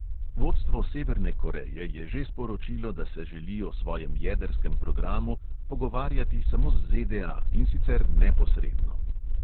Vodstvo severne koreje je že sporočilo, da se želi o svojem jedrskem programu pogovarjati samo z ZDA, in sicer neposredno.